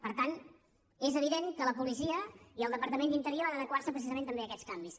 per tant és evident que la policia i el departament d’interior han d’adequarse també a aquests canvis